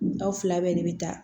Aw fila bɛɛ de bɛ taa